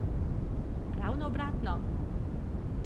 Ravno obratno!